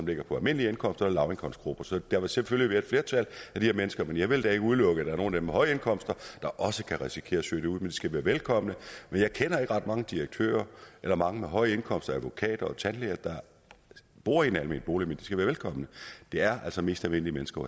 ligger på almindelig indkomst og lavindkomstgrupper så der vil selvfølgelig være et flertal af de her mennesker men jeg vil da ikke udelukke at der er nogle af dem med høje indkomster der også kan risikere at søge ind en skal være velkomne jeg kender ikke ret mange direktører eller mange med høje indkomster advokater og tandlæger der bor i en almen bolig men de skal være velkomne det er altså mest almindelige mennesker